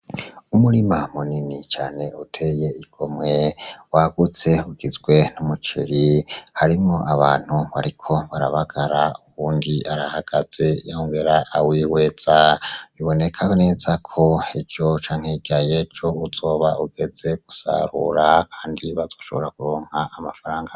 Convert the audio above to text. Umurima munini cane uteye igomwe wagutse ugizwe n'umuceri harimwo abantu bariko barabagara uwundi arahagaze yongera awihweza biboneka neza ko ejo canke hirya yejo uzoba ugeze gusarura kandi bazoshobora kuronka amafaranga menshi